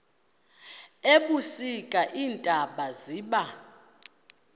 ebusika iintaba ziba